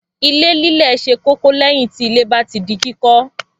Ilé lílẹ̀ ṣe kókó lẹ́yìn tí ilé bá di kíkọ́.